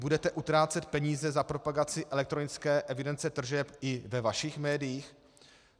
Budete utrácet peníze za propagaci elektronické evidence tržeb i ve vašich médiích?